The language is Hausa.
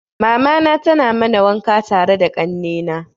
Mamana tana mana wanka tare da kanne na.